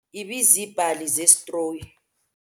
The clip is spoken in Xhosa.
Izitulo zethu ibiziibhali zesitroyi.